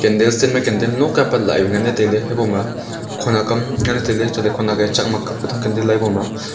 stand candle nok a apat la vai ngai le habo ma khonek am ngai le tai ley chat khawnek e chak ma kap ka tham tai ley habo ma--